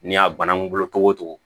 N'i y'a banakunkolo togo